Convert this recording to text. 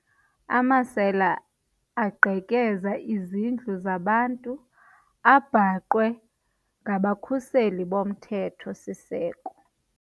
Amasela aqhekeza izindlu zabantu abhaqwe ngabakhuseli bomthetho-siseko.